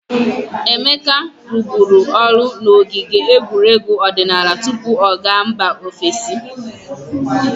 Emeka rụbụrụ ọrụ n'ogige egwuregwu odinaala tupu ọ ga mba ofesi.